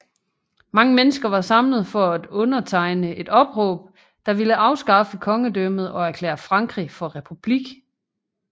Mange mennesker var samlet for at undertegne et opråb der ville afskaffe kongedømmet og erklære Frankrig for republik